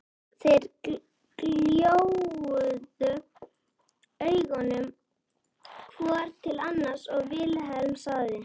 Þeir gjóuðu augunum hvor til annars og Vilhelm sagði